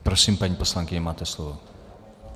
Prosím, paní poslankyně, máte slovo.